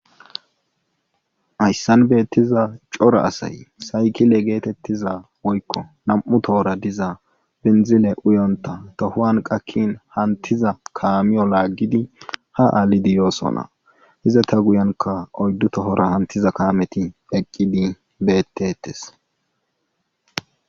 Hayssan beettiza cora asay saykile geetettiza woykko nam7u tohora diza bendzile uyonta tohuwan qakkin hantiza kaamiyo laaggidi ha aalidi yoosona iza ta guyanka oyddu tohora hantiza kaameti eqqidi beettettes.